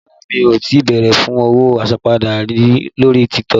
Rárá mi ò tí bèrè fún owó àsanpadà rí lórí TikTok.